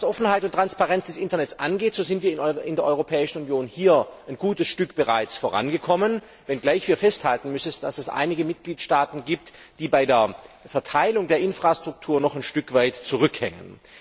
Was Offenheit und Transparenz des Internets angeht, so sind wir in der Europäischen Union hier bereits ein gutes Stück vorangekommen, wenngleich wir festhalten müssen, dass es einige Mitgliedstaaten gibt, die bei der Verteilung der Infrastruktur noch ein Stück weit zurückhängen.